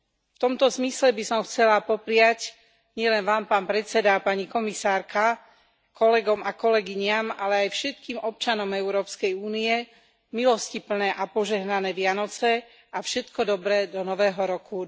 V tomto zmysle by som chcela popriať, nielen vám, pán predseda a pani komisárka, kolegom a kolegyniam, ale aj všetkým občanom Európskej únie, milostiplné a požehnané Vianoce a všetko dobré do nového roku